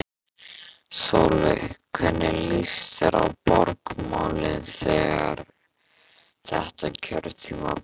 Sólveig: Hvernig líst þér á borgarmálin þetta kjörtímabilið?